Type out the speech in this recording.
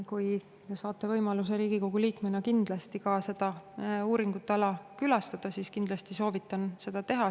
Kui te saate võimaluse Riigikogu liikmena seda uuringuala külastada, siis kindlasti soovitan seda teha.